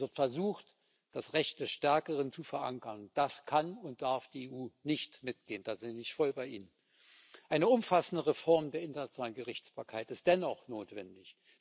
Es wird versucht, das Recht des Stärkeren zu verankern. Da kann und darf die EU nicht mitgehen. Da bin ich voll bei Ihnen. Eine umfassende Reform der internationalen Gerichtsbarkeit ist dennoch notwendig.